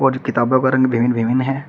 और किताबो का रंग विभिन्न विभिन्न है।